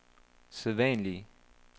sædvanlige